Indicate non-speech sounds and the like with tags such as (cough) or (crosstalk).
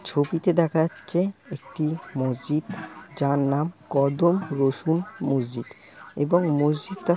ছবিতে দেখাচ্ছে একটি মসজিদ যার নাম কদম রসুন মসজিদ এবং মসজিদটা-- (crosstalk)